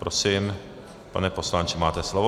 Prosím, pane poslanče, máte slovo.